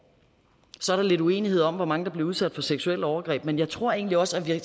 så er der lidt uenighed om hvor mange der bliver udsat for seksuelle overgreb men jeg tror egentlig også at vi